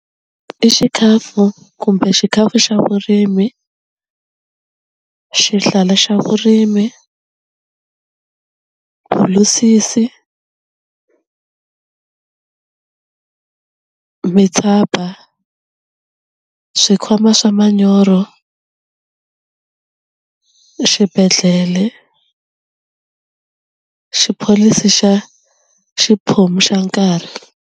I xikhafu kumbe xikhafu xa vurimi xihlala xa vurimi, bulusisi, mitshaba swi khoma swa manyoro, xibedhlele, xi pholisi xa xiphomu xa nkarhi.